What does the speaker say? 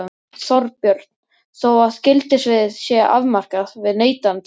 Þorbjörn: Þó að gildissviðið sé afmarkað við neytendalán?